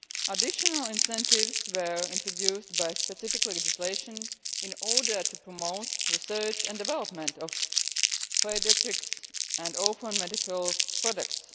Additional incentives were introduced by specific legislation in order to promote research and development of paediatrics and orphan medicinal products.